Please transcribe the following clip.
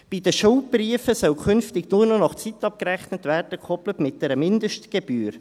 Bei den Schuldbriefen soll künftig nur noch nach Zeit abgerechnet werden, gekoppelt mit einer Mindestgebühr.